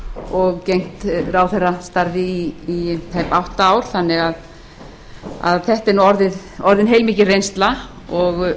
og gegnt ráðherrastarfi í tæp átta ár þannig að þetta er orðin heilmikil reynsla og